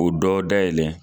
O dɔ da yɛlɛn.